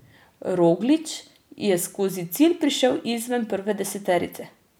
Roglič je skozi cilj prišel izven prve deseterice.